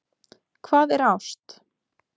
Hvað er ást